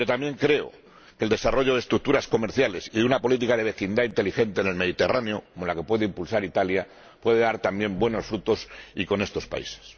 Pero también creo que el desarrollo de estructuras comerciales y una política de vecindad inteligente en el Mediterráneo, como la que puede impulsar Italia, puede dar buenos frutos, también con estos países.